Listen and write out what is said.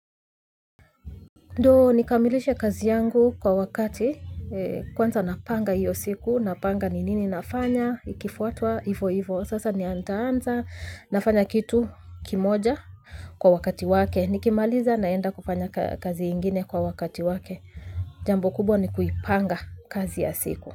Ndio nikamilishe kazi yangu kwa wakati, kwanza napanga hiyo siku, napanga ni nini nafanya, ikifuatwa, ivo ivo, sasa nitaanza, nafanya kitu kimoja kwa wakati wake. Nikimaliza naenda kupanya kazi ingine kwa wakati wake. Jambo kubwa ni kuipanga kazi ya siku.